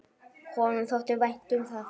Honum þótti vænt um það.